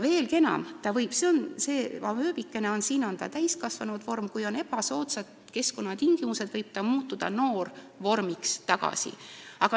Veelgi enam, kui on ebasoodsad keskkonnatingimused, võib täiskasvanud vorm muutuda noorvormiks tagasi.